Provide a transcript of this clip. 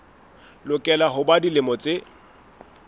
lokela ho ba dilemo tse